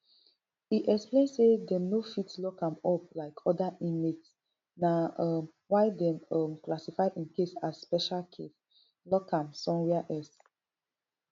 e explain say dem no fit lock am up like oda inmate na um why dem um classify im case as special case lock am somewia else